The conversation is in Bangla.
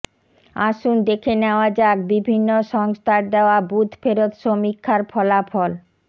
আসুন দেখে নেওয়া যাক বিভিন্ন সংস্থার দেওয়া বুথ ফেরত সমীক্ষার ফলাফলঃ